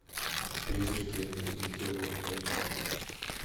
призраки этого не делают найти